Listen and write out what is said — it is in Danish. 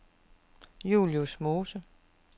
Julius Mose